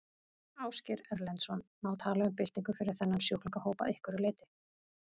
Ásgeir Erlendsson: Má tala um byltingu fyrir þennan sjúklingahóp að einhverju leyti?